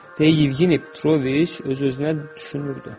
Deyə Yevgeni Petroviç öz-özünə düşünürdü.